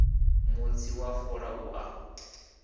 mutsi wa fola u a